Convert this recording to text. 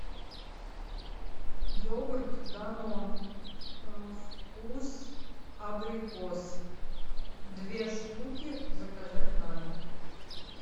йогурт данон вкус абрикос две штуки заказать на дом